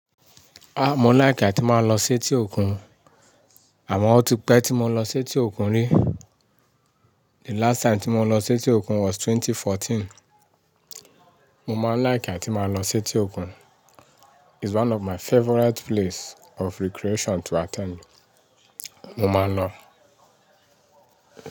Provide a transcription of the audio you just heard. Ah! Mo like àti máa lọ sí etí òkun, àmọ́ ó ti pẹ́ tí mo lọ sí etí òkun rí. The last time tí mo lọ sí etí òkun was twenty fourteen. Mo ma like àti máa lọ sí etí òkun. Is one of my favorite place of recreation to attend. Mo máa lọ.